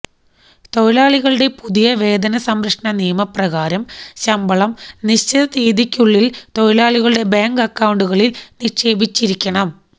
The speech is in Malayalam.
തൊഴിലാളികളുടെ പുതിയ വേതന സംരക്ഷണ നിയമ പ്രകാരം ശമ്പളം നിശ്ചിത തീയതിക്കുള്ളില് തൊഴിലാളികളുടെ ബാങ്ക് അക്കൌണ്ടുകളില് നിക്ഷേപിച്ചിരിക്കണം